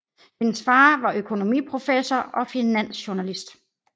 Hendes far var økonomiprofessor og finansjournalist